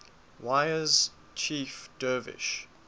wiyas chief dervish